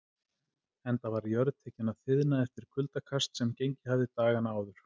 Enda var jörð tekin að þiðna eftir kuldakast, sem gengið hafði dagana áður.